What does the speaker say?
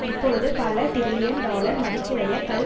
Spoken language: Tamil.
இப்பொழுது பல டிரில்லியன் டாலர் மதிப்புடைய கள்